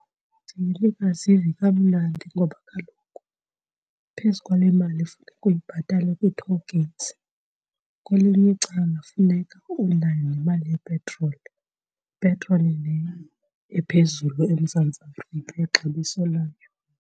Ndiye ndingazivi kamnandi ngoba kaloku phezu kwale mali efuneka uyibhatale kwii-toll gates kwelinye icala funeka unayo nemali yepetroli, petroli leyo ephezulu eMzantsi Afrika ixabiso layo.